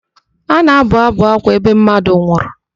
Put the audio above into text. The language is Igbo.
A na-abụ ábụ̀ ákwá ebe mmadụ nwụrụ.